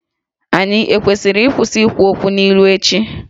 Ànyị kwesịrị ịkwụsị ikwu okwu n’ilu ​​echi?